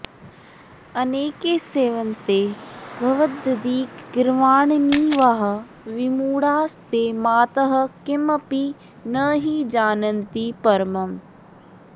अनेके सेवन्ते भवदधिकगीर्वाणनिवहा विमूढास्ते मातः किमपि नहि जानन्ति परमम्